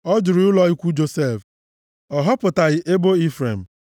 Ọ jụrụ ụlọ ikwu Josef, ọ họpụtaghị ebo Ifrem;